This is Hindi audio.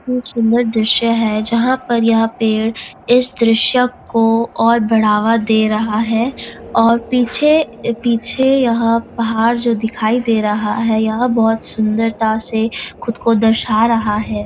सुंदर दृश्य है जहाँ पर यह पेड़ इस दृश्य को और बढ़ावा दे रहा है और पीछे पीछे यह पहाड़ जो दिखाई दे रहा है यह बहुत सुंदरता से खुद को दर्शा रहा है।